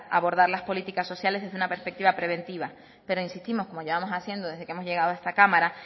abordar las políticas sociales desde una perspectiva preventiva pero insistimos como llevamos haciendo desde que hemos llegado a esta cámara